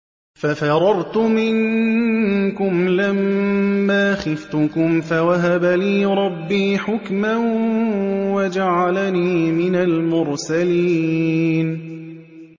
فَفَرَرْتُ مِنكُمْ لَمَّا خِفْتُكُمْ فَوَهَبَ لِي رَبِّي حُكْمًا وَجَعَلَنِي مِنَ الْمُرْسَلِينَ